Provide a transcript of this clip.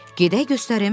Gedək göstərim.